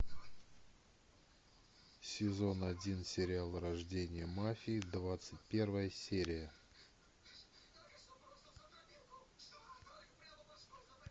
сезон один сериал рождение мафии двадцать первая серия